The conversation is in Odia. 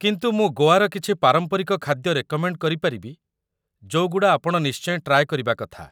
କିନ୍ତୁ ମୁଁ ଗୋଆର କିଛି ପାରମ୍ପରିକ ଖାଦ୍ୟ ରେକମେଣ୍ଡ୍ କରିପାରିବି ଯୋଉଗୁଡ଼ା ଆପଣ ନିଶ୍ଚୟ ଟ୍ରାଏ କରିବା କଥା ।